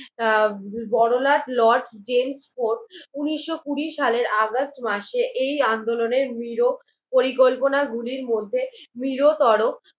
আহ বড়লাট Lord James Ford উনিশ কুড়ি সালের অগাস্ট মাসে এই আন্দোলনের নিরোকে পরিকল্পনা গুলির মধ্যে বৃহত্তর